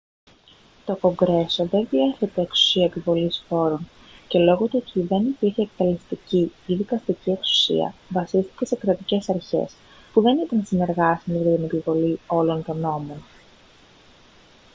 to κογκρέσο δεν διέθετε εξουσία επιβολής φόρων και λόγω του ότι δεν υπήρχε εκτελεστική ή δικαστική εξουσία βασίστηκε σε κρατικές αρχές που δεν ήταν συνεργάσιμες για την επιβολή όλων των νόμων